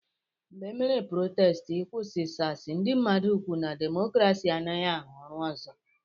Mgbe emere protestị ị kwụsị SARS, ndị mmadụ kwụ na demokrasi anaghị arụ ọrụ ọzọ.